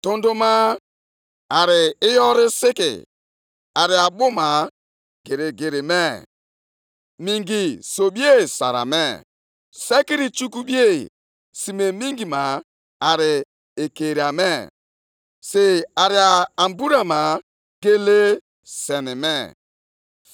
Mgbe ugwu niile hụrụ gị ha nyagharịrị onwe ha nʼihi ihe mgbu bịakwasịrị ha. Oke mmiri ozuzo gabigakwara. Ogbu mmiri mere ka olu ya daa ụda, buliekwa ebili mmiri elu.